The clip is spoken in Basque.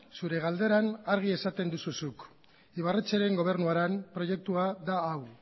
zure galderan argi esaten duzu zuk ibarretxeren gobernuaren proiektua da hau